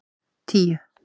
tíu